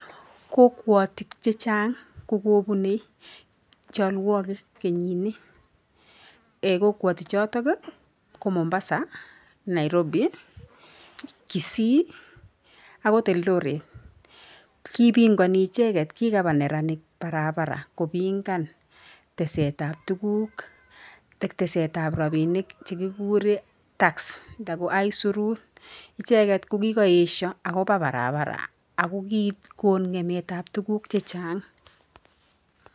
Kokwatik chechang kokobunei cholwokik kenyini kokwotich choto ko Mombasa Nairobi Kisii akot Eldoret. Kipingani icheget kikaba neranik barabara kopingan tesetab tuguk ak tesetab robinik che kigurei tax nda ko aisirut. Icheget kokikaesha akoba barabara akikon ng'emetab tuguk chechang'.